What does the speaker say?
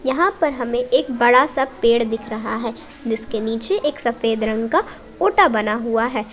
यहां पर हमें एक बड़ा सा पेड़ दिख रहा है जिसके नीचे एक सफेद रंग का ओटा बना हुआ है।